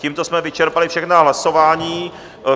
Tímto jsme vyčerpali všechna hlasování.